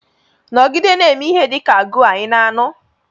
Nọgide na-eme ihe dị ka goar, ị na-anụ?